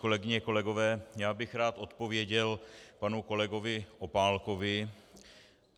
Kolegyně, kolegové, já bych rád odpověděl panu kolegovi Opálkovi.